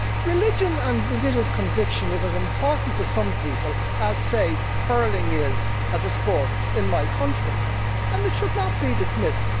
Religion and religious conviction are as important to some people as, say, hurling is as a sport in my country and it should not be dismissed.